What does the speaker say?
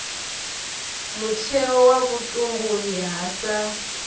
mutheo wa vhutumbuli ha sa